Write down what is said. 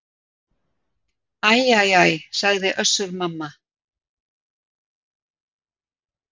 Æ æ æ, sagði Össur-Mamma.